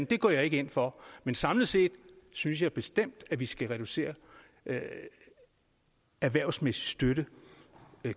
det går jeg ikke ind for men samlet set synes jeg bestemt at vi skal reducere den erhvervsmæssige støtte